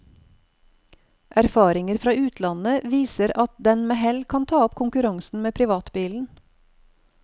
Erfaringer fra utlandet viser at den med hell kan ta opp konkurransen med privatbilen.